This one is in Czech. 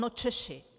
No Češi.